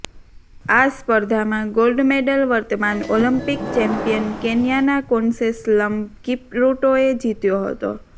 આ સ્પર્ધામાં gold medal વર્તમાન ઓલિમ્પિક ચેમ્પિયન કેન્યાના કોનસેસ્લ્મ કિપરૂટોએ જીત્યો હતો